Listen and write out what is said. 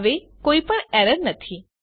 હવે કોઈપણ એરર નથી